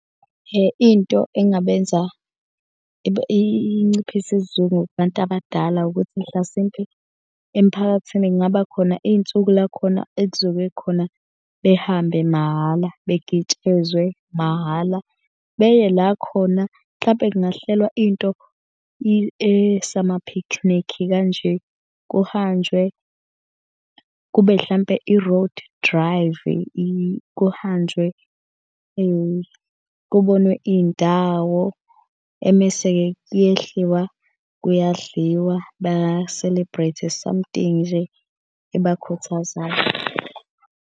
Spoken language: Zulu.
Into engabenza inciphise isizungu kubantu abadala ukuthi mhlasimpe emphakathini kungaba khona iy'nsuku la khona ekuzobe khona behambe mahhala bengitshezwe mahhala. Beye la khona mhlampe kungahlelwa into esama-picnic kanje. Kuhanjwe kube hlampe i-road drive-i kuhanjwe kubonwe iy'ndawo. Emese-ke kuyehliwa kuyadliwa ba-celebrate-e something nje ebakhuthazayo.